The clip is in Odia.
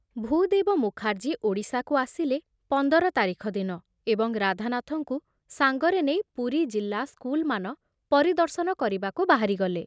ଭୂଦେବ ମୁଖାର୍ଜୀ ଓଡ଼ିଶାକୁ ଆସିଲେ ପଂଦର ତାରିଖ ଦିନ ଏବଂ ରାଧାନାଥଙ୍କୁ ସାଙ୍ଗରେ ନେଇ ପୁରୀ ଜିଲ୍ଲା ସ୍କୁଲମାନ ପରିଦର୍ଶନ କରିବାକୁ ବାହାରିଗଲେ ।